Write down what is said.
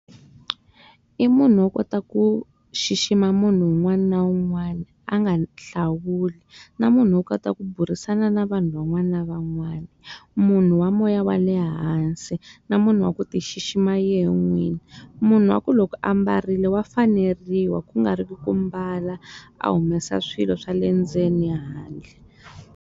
I munhu wa kota ku xixima munhu un'wana na un'wana, a nga hlawuli. Na munhu wa kota ku burisana na vanhu van'wana na van'wana. Munhu wa moya wa ehansi, na munhu wa ku ti xixima yena n'wini. Munhu wa ku loko ambarile wa faneriwa ku nga ri ki ku mbala a humesa swilo swa le ndzeni handle.